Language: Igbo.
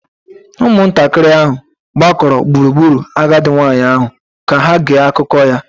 Ụmụntakịrị ahụ gbakọrọ gburugburu agadi nwanyị ahụ ka ha gee akụkọ ya